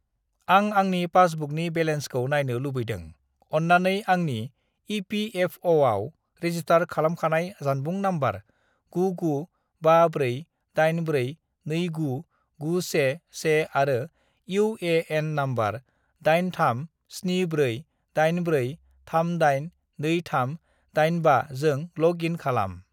"आं आंनि पासबुकनि बेलेन्सखौ नायनो लुबैदों, अन्नानै आंनि इ.पि.एफ.अ'.आव रेजिस्टार खालामखानाय जानबुं नम्बर 99548429911 आरो इउ.ए.एन. नम्बर 837484382385 जों लग इन खालाम।"